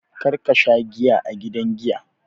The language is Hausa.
Kar ka sha giya a gidan giya!